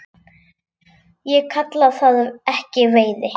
Ég kalla það ekki veiði.